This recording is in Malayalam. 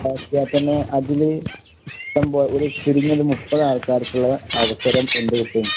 ഇണ്ടാക്കിയാക്കുന്നെ അതില് ഇഷ്ടംപോ ഒരു ചുരിങ്ങിയത് മുപ്പതാൾക്കാർക്കുള്ള അവസരം എന്ത്കിട്ടും?